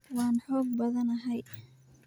waan xoog badanahay